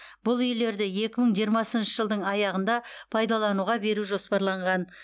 бұл үйлерді екі мың жиырмасыншы жылдың аяғында пайдалануға беру жоспарланған